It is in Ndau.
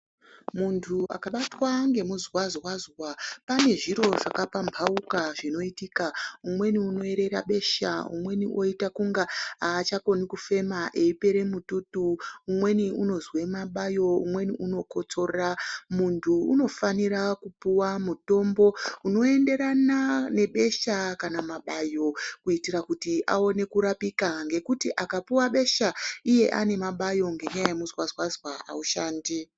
Muntu akabatwa ngemuzwazwazwa panozviro zvakapmhauka zvinoitika, umweni unoerera besha, umweni oita kunga achakoni kufema, eipere mututu, umweni unozwe mabayo, umweni unokotsora, muntu unofanira kupiwa mutombo unoenderana nebesha kana mabayo kuitira kuti aone kurapika ngekuti akapiwa besha iye ane mabayo ngenyaya yemuzwazwazwa aushandi.